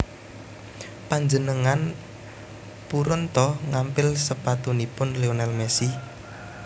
Panjenengan purun to ngampil sepatunipun Lionel Messi